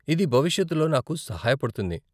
ఇది భవిష్యత్తులో నాకు సహాయపడుతుంది